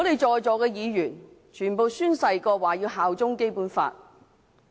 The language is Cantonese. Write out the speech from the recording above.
在席的議員，全部都已宣誓效忠《基本法》。